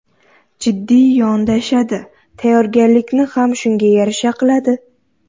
Jiddiy yondashadi, tayyorgarlikni ham shunga yarasha qiladi.